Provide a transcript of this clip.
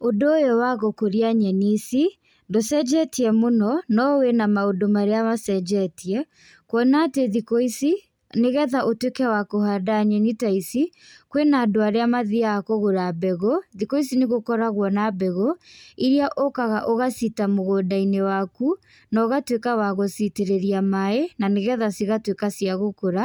Ũndũ ũyũ wagũkũria nyeni ici, ndũcenjetie mũno, no wĩna maũndũ marĩa macenjetie, kuona atĩ thikũ ici, nĩgetha ũtwĩke wa kũhanda nyeni ta ici, kwĩna andũ arĩa mathiaga kũgũra mbegũ, thikũ ici nĩgũkoragwo na mbegũ, iria ũkaga ũgaciita mũgũnda-inĩ waku, nogacitĩrĩria maĩ nanĩgetha cigatwĩka cia gũkũra,